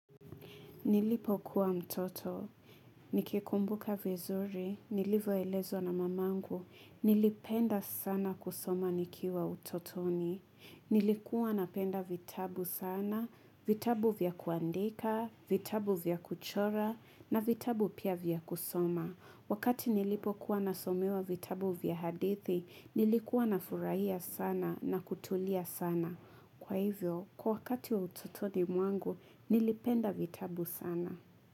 Nilipokuwa mtoto, nikikumbuka vizuri, nilivyoelezwa na mamangu, nilipenda sana kusoma nikiwa utotoni, nilikuwa napenda vitabu sana, vitabu vya kuandika, vitabu vya kuchora, na vitabu pia vya kusoma. Wakati nilipo kuwa nasomewa vitabu vya hadithi, nilikuwa na furahia sana na kutulia sana. Kwa hivyo, kwa wakati wa ututoni mwangu, nilipenda vitabu sana.